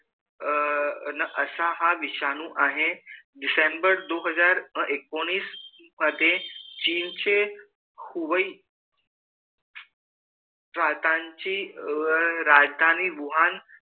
अ न असा हा विषाणु आहे दिसम्बर दोन हज़ार एकोनिस मधे चिनचे हूबई प्रातनची अ राजधानी वुहान